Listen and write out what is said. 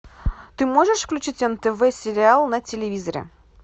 ты можешь включить нтв сериал на телевизоре